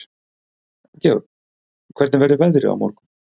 Georg, hvernig verður veðrið á morgun?